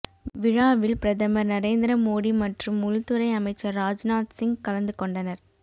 விழாவில் பிரதமர் நரேந்திர மோடி மற்றும் உள்துறை அமைச்சர் ராஜ்நாத் சிங் கலந்துகொண்டனர்